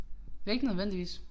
Ikke nødvendigvis